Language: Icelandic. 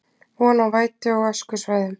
Von á vætu á öskusvæðum